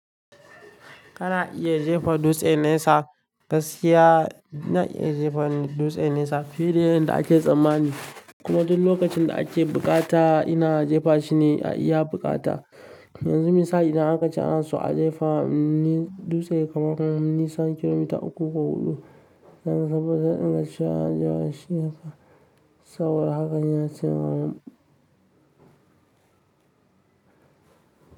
Kana iya jefa dutse nesa, gaskiya ina iya jefa dutse nesa fiye da yadda ake tsammani. Kuma duk lokacin da ake buƙata ina jefa shi ne ya buƙata. Yanzu misa idan aka ce ana so a jefa ni dutse kamar nisan kilomita uku ko huɗu, zan saba da dinkin cewa an jefa shi haka, saboda haka yana ciwa.